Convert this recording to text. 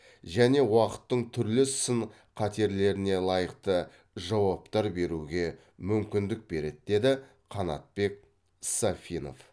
және уақыттың түрлі сын қатерлеріне лайықты жауаптар беруге мүмкіндік береді деді қанатбек сафинов